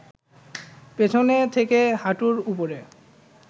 পেছন থেকে হাঁটুর উপরে